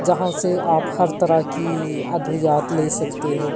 जहां से आप हर तरह की अदवियात ले सकते हो।